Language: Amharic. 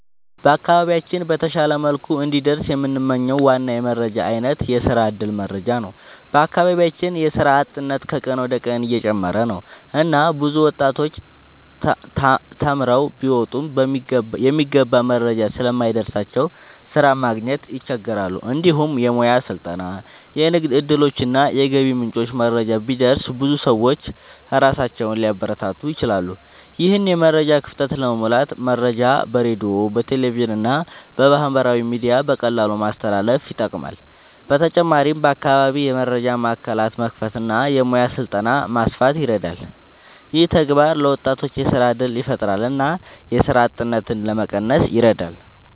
በአካባቢያችን በተሻለ መልኩ እንዲደርስ የምንመኝው ዋና የመረጃ አይነት የስራ እድል መረጃ ነው። በአካባቢያችን የስራ አጥነት ከቀን ወደ ቀን እየጨመረ ነው እና ብዙ ወጣቶች ተማርተው ቢወጡም የሚገባ መረጃ ስለማይደርስላቸው ስራ ማግኘት ይቸገራሉ። እንዲሁም የሙያ ስልጠና፣ የንግድ እድሎች እና የገቢ ምንጮች መረጃ ቢደርስ ብዙ ሰዎች ራሳቸውን ሊያበረታቱ ይችላሉ። ይህን የመረጃ ክፍተት ለመሙላት መረጃ በሬዲዮ፣ በቴሌቪዥን እና በማህበራዊ ሚዲያ በቀላሉ ማስተላለፍ ይጠቅማል። በተጨማሪም በአካባቢ የመረጃ ማዕከላት መክፈት እና የሙያ ስልጠና ማስፋት ይረዳል። ይህ ተግባር ለወጣቶች የስራ እድል ያፈጥራል እና የስራ አጥነትን ለመቀነስ ይረዳል።